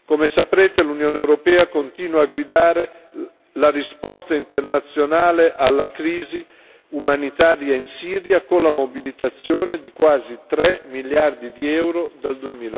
Come sapete l'Unione europea continua a guidare la risposta internazionale alla crisi umanitaria in Siria con la mobilitazione di quasi 3 miliardi di euro dal